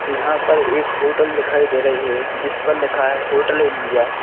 यहाँ पर एक होटल दिखाई दे रही है जिस पर लिखा है होटल इंडिया --